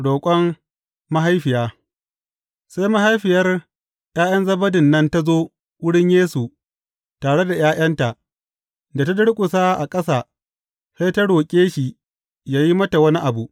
Roƙon mahaifiya Sai mahaifiyar ’ya’yan Zebedin nan ta zo wurin Yesu tare da ’ya’yanta, da ta durƙusa a ƙasa, sai ta roƙe shi yă yi mata wani abu.